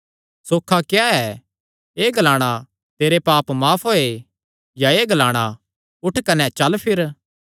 सौखा क्या ऐ एह़ ग्लाणा तेरे पाप माफ होये या एह़ ग्लाणा उठ कने चल फिर